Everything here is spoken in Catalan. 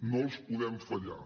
no els podem fallar